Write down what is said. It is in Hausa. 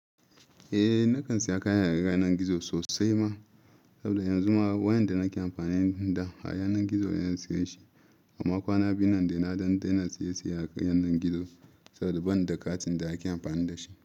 Eh, na kan saya kaya daga yanar gizo sosai ma, saboda yanzu ma wayan da nake amfani da shi daga yanar gizo ne na siya shi, amma kwana biyu nan dai na daina siye siye akan yanar gizo saboda ban da katin da ake amfani da shi.